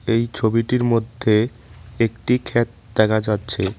এই ছবিটির মধ্যে একটি ক্ষেত দেখা যাচ্ছে।